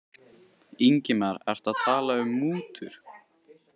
Ingimar: Ertu að tala um mútur?